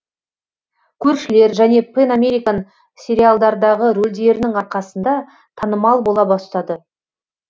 көршілер және пэн американ сериалдардағы рөлдерінің арқасында танымал бола бастады